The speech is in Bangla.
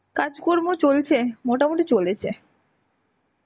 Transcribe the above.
কাজকর্ম চলছে. মোটামুটি চলেছে.